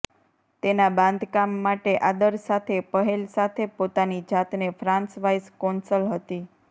તેના બાંધકામ માટે આદર સાથે પહેલ સાથે પોતાની જાતને ફ્રાંસ વાઇસ કોન્સલ હતી